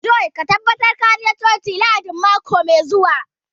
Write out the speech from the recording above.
John ka tabbata ka je coci Lahadin mako mai zuwa